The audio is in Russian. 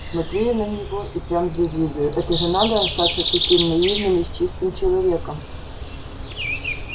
смотрю я на него и прямо завидую это же надо остаться таким наивным и с чистым человеком